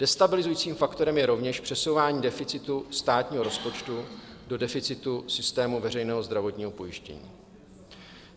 Destabilizujícím faktorem je rovněž přesouvání deficitu státního rozpočtu do deficitu systému veřejného zdravotního pojištění.